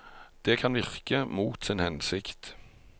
Det kan virke mot sin hensikt.